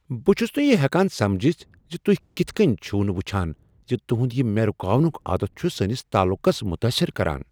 بہٕ چُھس نہٕ یِہ ہیکن سمجِتھ زِ تُہۍ کِتھ کٔنۍ چھو نہٕ وُچھان زِ تُہند یِہ مےٚ رُکاونُک عادت چُھ سٲنس تعلُقس متٲثر کران ۔